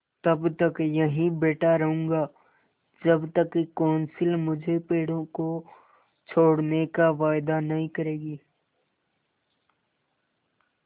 तब तक यहीं बैठा रहूँगा जब तक कौंसिल मुझे पेड़ों को छोड़ने का वायदा नहीं करेगी